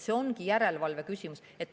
See ongi järelevalve küsimus.